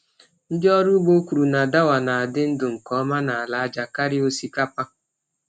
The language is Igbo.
Ndị ọrụ ugbo kwuru na dawa na-adị ndụ nke ọma n’ala aja karịa osikapa.